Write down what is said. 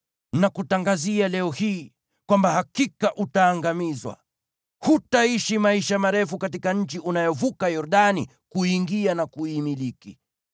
nakutangazia leo hii kwamba hakika utaangamizwa. Hutaishi maisha marefu katika nchi unayovuka Yordani kuiingia na kuimiliki.